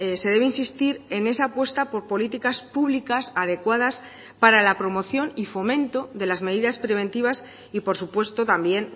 se debe insistir en esa apuesta por políticas públicas adecuadas para la promoción y fomento de las medidas preventivas y por supuesto también